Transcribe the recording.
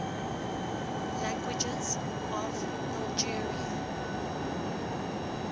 languages of algeria